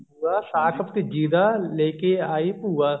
ਸਾਕ ਭਤੀਜੀ ਦਾ ਲੈਕੇ ਆਈ ਭੂਆ